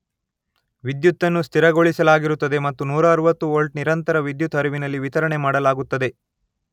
ವಿದ್ಯುತ್ ಅನ್ನು ಸ್ಥಿರಗೊಳಿಸಲಾಗಿರುತ್ತದೆ ಮತ್ತು ನೂರ ಅರುವತ್ತು ವೋಲ್ಟ್ ನಿರಂತರ ವಿದ್ಯುತ್ ಹರಿವಿನಲ್ಲಿ ವಿತರಣೆ ಮಾಡಲಾಗುತ್ತದೆ.